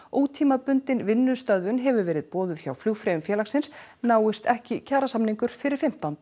ótímabundin vinnustöðvun hefur verið boðuð hjá flugfreyjum félagsins náist ekki kjarasamningur fyrir fimmtánda